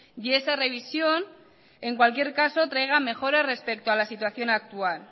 y esa revisión en cualquier caso traiga mejoras respecto a la situación actual